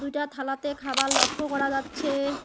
দুইটা থালাতে খাবার লক্ষ্য করা যাচ্ছে।